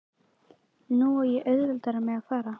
Nú á ég auðveldara með að fara.